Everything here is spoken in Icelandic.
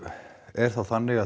er þá þannig